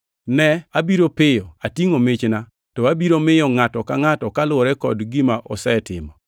“Ne! Abiro piyo! Atingʼo michna, to abiro miyo ngʼato ka ngʼato kaluwore kod gima osetimo.